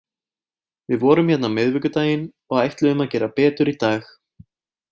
Við vorum hérna á miðvikudaginn og ætluðum að gera betur í dag.